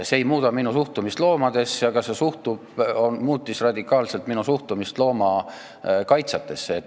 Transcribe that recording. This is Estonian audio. See ei muuda minu suhtumist loomadesse, aga see muutis radikaalselt minu suhtumist loomakaitsjatesse.